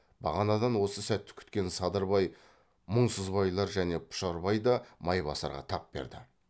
бағанадан осы сәтті күткен садырбай мұңсызбайлар және пұшарбай да майбасарға тап берді